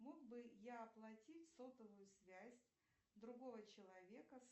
мог бы я оплатить сотовую связь другого человека